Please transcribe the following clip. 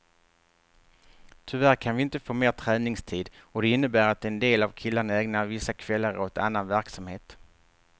Tyvärr kan vi inte få mer träningstid och det innebär att en del av killarna ägnar vissa kvällar åt annan verksamhet.